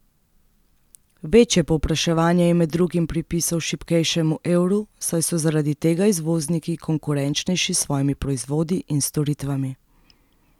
Večje povpraševanje je med drugim pripisal šibkejšemu evru, saj so zaradi tega izvozniki konkurenčnejši s svojimi proizvodi in storitvami.